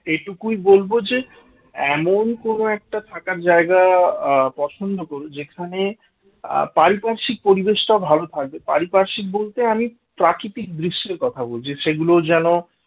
এটুকুই বলবো যে এমন কোন একটা থাকার জায়গা আহ পছন্দ করো যেখানে আহ পারিপার্শ্বিক পরিবেশটা ভালো থাকবে, পারিপার্শেক বলতে আমি প্রাকৃতিক দৃশ্যের কথা বলছি সেগুলো যেন